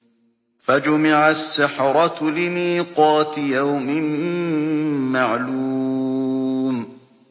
فَجُمِعَ السَّحَرَةُ لِمِيقَاتِ يَوْمٍ مَّعْلُومٍ